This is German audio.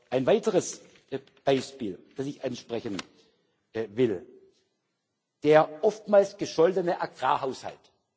Ein weiteres Beispiel, das ich ansprechen will, ist der oftmals gescholtene Agrarhaushalt.